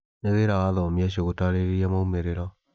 Nĩ wĩra wa athomi acio gũtaarĩria moimĩrĩro.